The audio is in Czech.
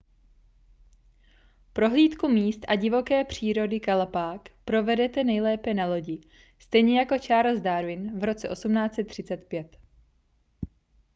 prohlídku míst a divoké přírody galapág provedete nejlépe na lodi stejně jako charles darwin v roce 1835